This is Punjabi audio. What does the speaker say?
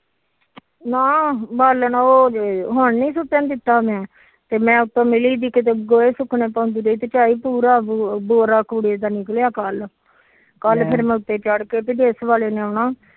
ਨਾ ਬਾਲਣ ਉ ਜੇ ਹੁਣ ਨੀ ਸੁਟਣ ਦਿੱਤਾ ਤੇ ਉਤੋਂ ਪੂਰਾ ਬੋਰਾ ਕੂੜੇ ਦਾ ਨਿਕਲਿਆ ਕੱਲ ਕੱਲ ਫਿਰ ਮੈ ਉਤੇ ਚੜ ਕੇ ਤੇ ਡਿਸ਼ ਵਾਲੇ ਨੇ ਆਉਣਾ